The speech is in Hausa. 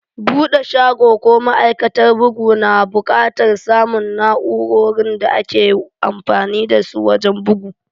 Bude shago ko ma'aikatar bugu na bukatar samun na'urorin da ake amfani dasu wajen bugu.